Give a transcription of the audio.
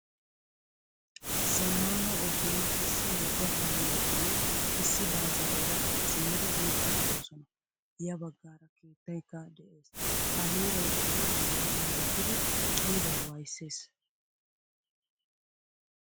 Zamaana ogiyan issi wogga kaameranne issi baajjaera ha simmidi yiidi deosona. Ya baggaara keettaykka de'ees. Ha heeray eriyo heeraa milattidi qiiba wayssees.